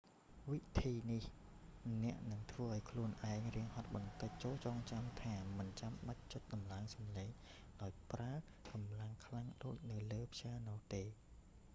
វិធីនេះអ្នកនឹងធ្វើឱ្យខ្លួនឯងរាងហត់បន្តិច ចូរចងចាំថាមិនចាំបាច់ចុចតម្លើងសម្លេងដោយប្រើកម្លាំងខ្លាំងដូចនៅលើព្យ៉ាណូទេ